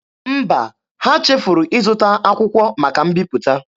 Mba, ha chefuru ịzụta akwụkwọ maka mbiputa.